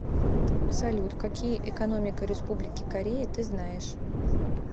салют какие экономика республики корея ты знаешь